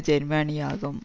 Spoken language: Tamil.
ஜேர்மனியாகும்